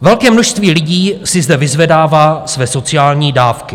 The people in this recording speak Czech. Velké množství lidí si zde vyzvedává své sociální dávky.